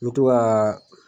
I bi to ka